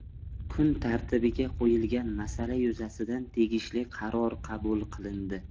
Kun tartibiga qo‘yilgan masala yuzasidan tegishli qaror qabul qilindi.